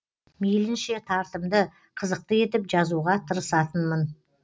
мейлінше тартымды қызықты етіп жазуға тырысатынмын